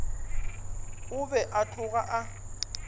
o be a tloga a